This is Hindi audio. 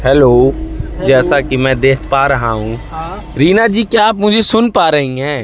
हेलो जैसा कि मैं देख पा रहा हूं रीना जी क्या आप मुझे सुन पा रही हैं?